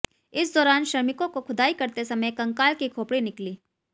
इस दौरान श्रमिकों को खुदाई करते समय कंकाल की खोपड़ी निकली